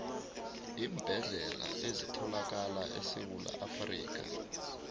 iimbedlela ezithalakala esewula afrikha